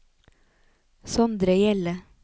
Sondre Hjelle